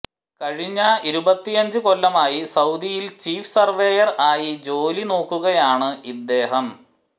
കഴിഞ്ഞ ഇരുപത്തിയഞ്ച് കൊല്ലമായി സൌദിയിൽ ചീഫ് സർവേയർ ആയി ജോലി നോക്കുകയാണ് ഇദ്ദേഹം